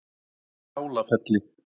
Skálafelli